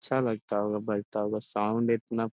अच्छा लगता होगा बजता हुआ साउंड इतना --